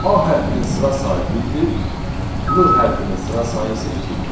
A hərfinin sıra sayı birdir, l hərfinin sıra sayı isə ikidir.